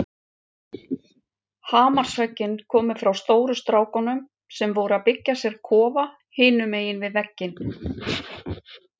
Hamarshöggin komu frá stóru strákunum sem voru að byggja sér kofa hinum megin við veginn.